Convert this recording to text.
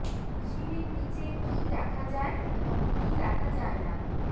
সিঁড়ির নীচে কী রাখা যায় এবং কী রাখা যায় না